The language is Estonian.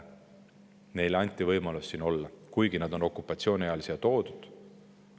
Neile anti võimalus siin olla, kuigi nad on okupatsiooni ajal siia toodud.